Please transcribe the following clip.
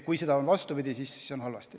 Kui on vastupidi, siis on halvasti.